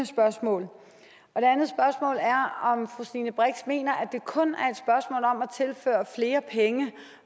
spørgsmål er om fru stine brix mener at det kun at tilføre flere penge